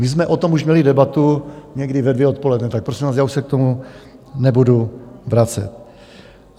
My jsme o tom už měli debatu někdy ve dvě odpoledne, tak prosím vás, já už se k tomu nebudu vracet.